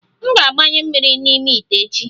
M ga-agbanwe mmiri n'ime ite echi